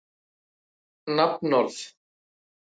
Sannleikurinn skal koma í ljós.